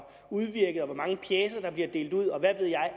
udvirket og hvor mange pjecer der bliver delt ud og hvad ved jeg